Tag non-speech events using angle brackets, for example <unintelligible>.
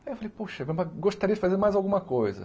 Aí eu falei, poxa, <unintelligible> gostaria de fazer mais alguma coisa.